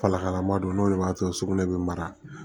Falakalama don n'o de b'a to sugunɛ bɛ mara